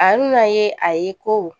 A bɛna ye a ye ko